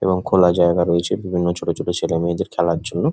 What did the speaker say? এবং খোলা জায়গা রয়েছে বিভিন্ন ছোট ছোট ছেলেমেয়েদের খেলার জন্য।